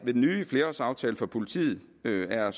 den nye flerårsaftale for politiet yderligere